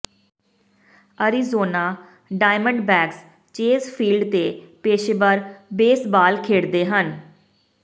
Arizona Diamondbacks Chase Field ਤੇ ਪੇਸ਼ੇਵਰ baseball ਖੇਡਦੇ ਹਨ